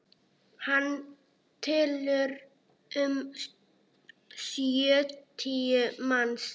Hann telur um sjötíu manns.